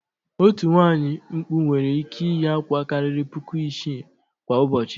Otu nwaanyị mkpụ nwere ị́kẹ́ iyi àkwá karịrị puku isii kwa ụbọchị.